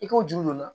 I k'o juru don i la